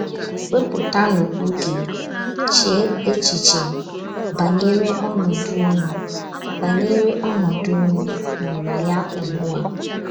Wepụtanu oge, chee echiche banyere ọnọdụ ụnụ banyere ọnọdụ ụnụ nọ na ya ugbu a.